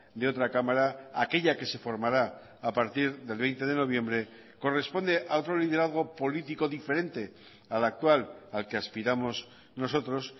de otra cámara aquella que se formará a partir del veinte de noviembre corresponde a otro liderazgo político diferente al actual al que aspiramos nosotros